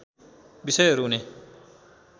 बिषयहरू हुने